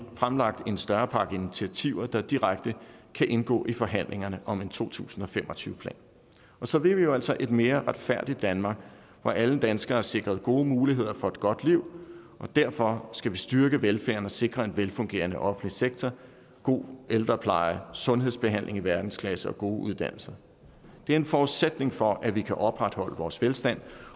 fremlagt en større pakke initiativer der direkte kan indgå i forhandlingerne om en to tusind og fem og tyve plan så vil vi altså et mere retfærdigt danmark hvor alle danskere er sikret gode muligheder for et godt liv og derfor skal vi styrke velfærden og sikre en velfungerende offentlig sektor god ældrepleje sundhedsbehandling i verdensklasse og gode uddannelser det er en forudsætning for at vi kan opretholde vores velstand